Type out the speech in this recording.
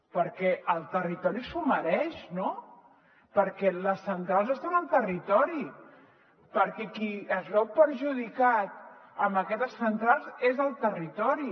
perquè el territori s’ho mereix no perquè les centrals estan al territori perquè qui es veu perjudicat amb aquestes centrals és el territori